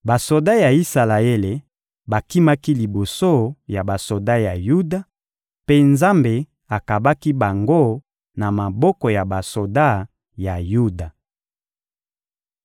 Basoda ya Isalaele bakimaki liboso ya basoda ya Yuda, mpe Nzambe akabaki bango na maboko ya basoda ya Yuda.